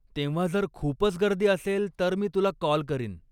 तेव्हा जर खूपच गर्दी असेल तर मी तुला काॅल करीन.